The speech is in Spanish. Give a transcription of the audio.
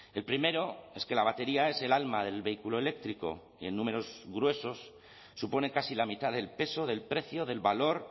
el primero es que la batería es el alma del vehículo eléctrico y en números gruesos supone casi la mitad del peso del precio del valor